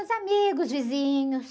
Os amigos, vizinhos.